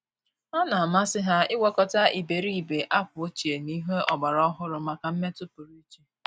Ọ́ nà-àmàsị́ há ị́gwakọta ìbèrìbè ákwà ọ́chíè na ìhè ọ́gbàrà ọ́hụ́rụ́ màkà mmètụ́ pụrụ iche.